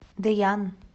дэян